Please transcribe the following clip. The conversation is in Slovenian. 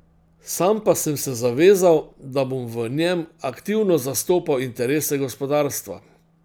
Sam pa sem se zavezal, da bom v njem aktivno zastopal interese gospodarstva.